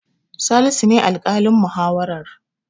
Salisu ne alƙalin muhawarar.